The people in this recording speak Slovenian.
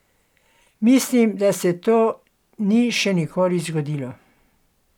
Mislim, da se to ni še nikoli zgodilo.